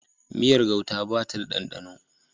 Miyar gauta ba ta da ɗanɗano